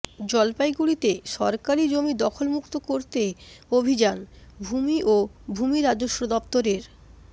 জলপাইগুড়িতে সরকারি জমি দখলমুক্ত করতে অভিযান ভূমি ও ভূমি রাজস্ব দফতরের